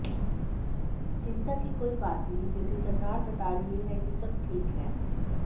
चिंता की कोई बात नहीं क्योंकि सरकार बता रही है कि सब ठीक है